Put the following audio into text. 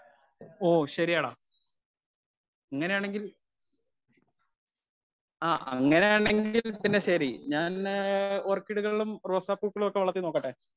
Speaker 1 ഒ ശരിയെടാ ഇങ്ങനെ ആണെങ്കിൽ ആ ഇങ്ങനെ ആണെങ്കിൽ ശരി ഞാന് ഓർക്കിഡുകളും, റോസാപൂക്കളും വളർത്തി നോക്കട്ടെ.